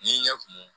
N'i ɲɛ kun